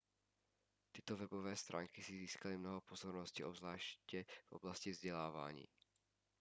tyto webové stránky si získaly mnoho pozornosti obzvláště v oblasti vzdělávání